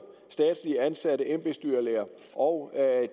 statsligt ansatte embedsdyrlæger og